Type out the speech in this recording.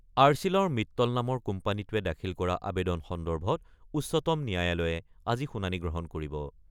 আৰ্চিলৰ মিটল নামৰ কোম্পানীটোৱে দাখিল কৰা আৱেদন সন্দৰ্ভত উচ্চতম ন্যায়ালয়ে আজি শুনানি গ্ৰহণ কৰিব।